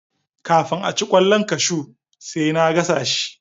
Kafin aci kwallon kashu sai na gasa shi